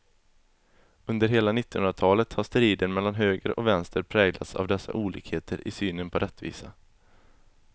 Under hela nittonhundratalet har striden mellan höger och vänster präglats av dessa olikheter i synen på rättvisa.